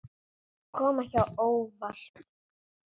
Kom ekki á óvart.